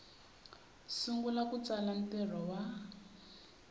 sungula ku tsala ntirho wa